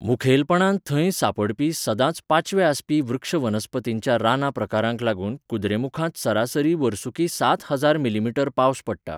मुखेलपणान थंय सांपडपी सदांच पांचवे आसपी वृक्षवनस्पतींच्या राना प्रकारांक लागून कुद्रेमुखांत सरासरी वर्सूकी सात हजार मि.मी पावस पडटा.